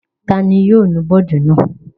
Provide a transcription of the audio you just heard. Ta ni yóò nu bọ́ọ́dù náà?